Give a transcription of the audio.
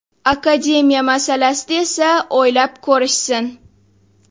Akademiya masalasida esa o‘ylab ko‘rishsin.